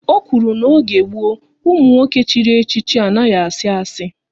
Ọ kwuru na n'oge gboo, ụmụ nwoke chiri echichi anaghị asị asi